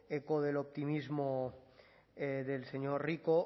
eco del optimismo del señor rico